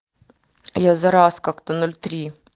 я зараз как-то ноль три